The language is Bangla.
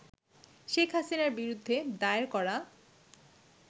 শেখ হাসিনার বিরুদ্ধে দায়ের করা